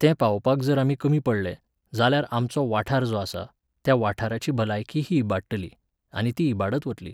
तें पावोवपाक जर आमी कमी पडले, जाल्यार आमचो वाठार जो आसा, त्या वाठाराची भलायकी ही इबाडटली, आनी ती इबाडत वतली.